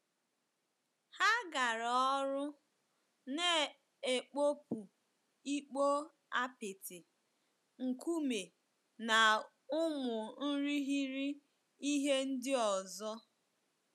Ha gara ọrụ, na-ekpopụ ikpo apịtị, nkume, na ụmụ irighiri ihe ndị ọzọ.